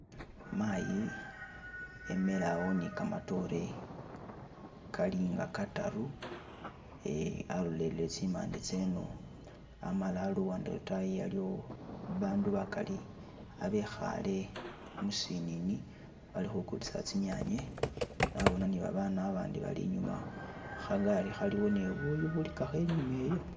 Mayi emile awo ni gamatore galinga gataru alolele tsimande tseno amala luwande lotayo haliwo bandu bagali abikhale misinini bakhugulisa tsi nyanye nabona ni babana bandi bali inyuma khagali khaliwo ni buyu buligakho inyuma eyo